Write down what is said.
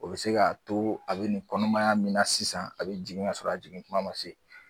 O bi se ka to a bi nin kɔnɔmaya min na sisan, a bi jigin ka sɔrɔ a jigin kuma ma se